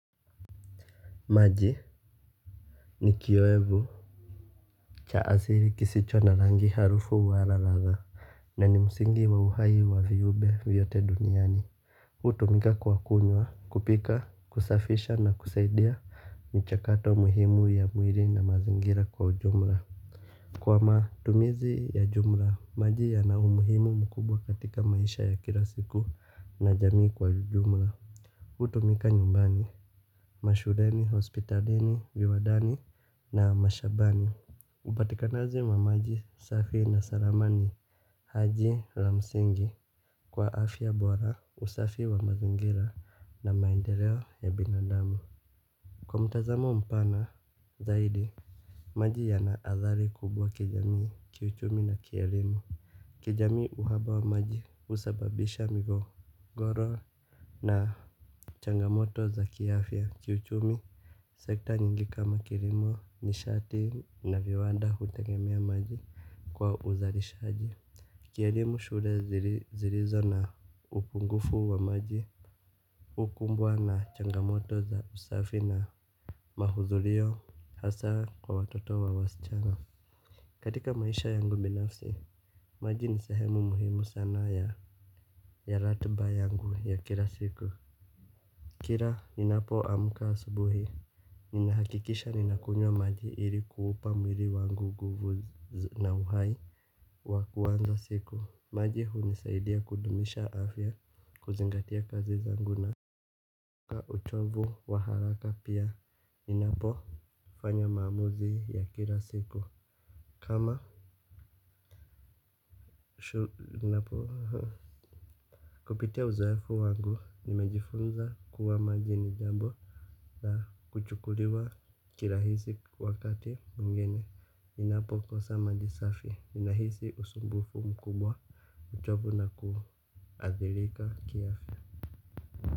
Maji ni kioevu cha asili kisicho na rangi, harufu wala ladha. Na ni msingi wa uhai wa viumbe vyote duniani. Hutumika kwa kunywa, kupika, kusafisha na kusaidia michakato muhimu ya mwili na mazingira kwa ujumla. Kwa matumizi ya jumla maji yana umuhimu mkubwa katika maisha ya kila siku na jamii kwa jumla. Hutumika nyumbani, mashuleni, hospitalini, viwandani na mashambani. Upatikanaji wa maji safi na salama ni haji la msingi kwa afya bora, usafi wa mazingira na maendeleo ya binadamu. Kwa mtazamo mpana zaidi, maji yana athari kubwa kijamii, kiuchumi na kielimu. Kijamii uhaba wa maji husababisha migogoro na changamoto za kiafya, kiuchumi, sekta nyingi kama kilimo, nishati na viwanda hutegemea maji kwa uzalishaji. Kielimu shule zilizo na upungufu wa maji hukumbwa na changamoto za usafi na mahudhurio hasa kwa watoto wa wasichana. Katika maisha yangu binafsi, maji ni sehemu muhimu sana ya ratiba yangu ya kila siku. Kila ninapoamka asubuhi ninahakikisha ninakunywa maji ili kuupa mwili wangu nguvu na uhai wa kuanza siku. Maji hunisaidia kudumisha afya kuzingatia kazi zangu na ka uchovu wa haraka pia ninapofanya maamuzi ya kila siku, kama ninapo, kupitia uzoefu wangu, nimejifunza kuwa maji ni jambo la kuchukuliwa kirahisi wakati mwingine. Ninapokosa maji safi, ninahisi usumbufu mkubwa uchovu na kuathirika kiafya.